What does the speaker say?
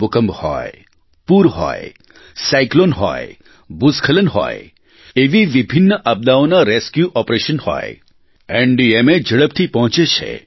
ભૂકંપ હોય પૂર હોય સાયક્લોન હોય ભૂસ્ખલન હોયએવી વિભિન્ન આપદાઓના રેસ્ક્યુ ઓપરેશન હોય એનડીએમએ ઝડપથી પહોંચે છે